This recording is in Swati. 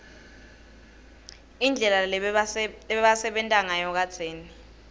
indlela lebabesenta nsayo kadzeni